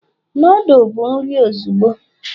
noodle bụ nri ozugbo